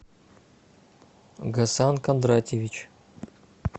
гасан кондратьевич